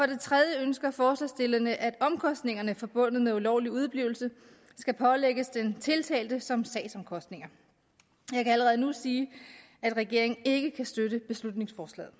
det tredje ønsker forslagsstillerne at omkostningerne forbundet med ulovlig udeblivelse skal pålægges den tiltalte som sagsomkostninger jeg kan allerede nu sige at regeringen ikke kan støtte beslutningsforslaget